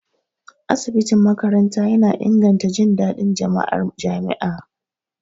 Asibitin makaranta yana inganta jin daɗin jama'ar jami'a.